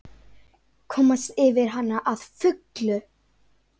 Komast yfir hana að fullu?